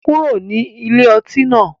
kuro ni ilé ọti náà